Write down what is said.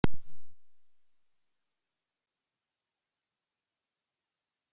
Lóa: Varst þú á leikskólanum þegar skjálftinn var í gær?